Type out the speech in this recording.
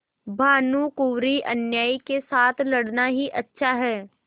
भानुकुँवरिअन्यायी के साथ लड़ना ही अच्छा है